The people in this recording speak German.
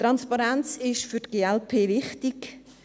Transparenz ist für die glp wichtig.